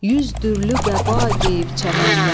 Yüz dürlü qəba geyib çəmənlər,